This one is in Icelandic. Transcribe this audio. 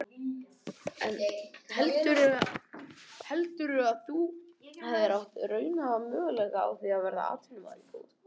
En heldurðu að þú hefðir átt raunhæfa möguleika á að verða atvinnumaður í fótbolta?